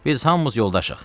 Biz hamımız yoldaşıq.